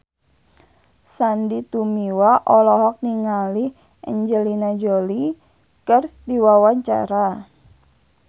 Sandy Tumiwa olohok ningali Angelina Jolie keur diwawancara